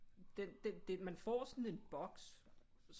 Den det man får sådan en boks